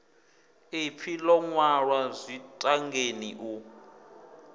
iḽi ḽo ṅwalwa zwitangeni u